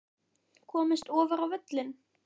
Komist ofar á völlinn?